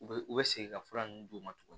U bɛ u bɛ segin ka fura ninnu d'u ma tuguni